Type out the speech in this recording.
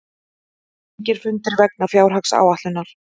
Engir fundir vegna fjárhagsáætlunar